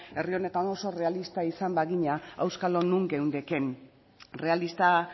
herri honetan oso errealista izan bagina auskalo non geundeken errealista